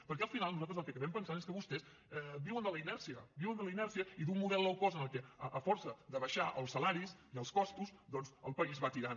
perquè al final nosaltres el que acabem pensant és que vostès viuen de la inèrcia viuen de la inèrcia i d’un model low cost en el que a força de baixar els salaris i els costos doncs el país va tirant